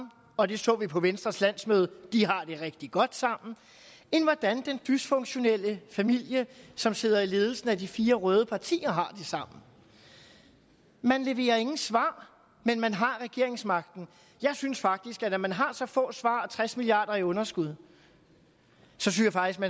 og det så vi på venstres landsmøde de har det rigtig godt sammen end af hvordan den dysfunktionelle familie som sidder i ledelsen af de fire røde partier har det sammen man leverer ingen svar men man har regeringsmagten jeg synes faktisk at når man har så få svar og tres milliard kroner i underskud